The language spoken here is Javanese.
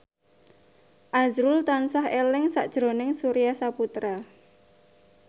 azrul tansah eling sakjroning Surya Saputra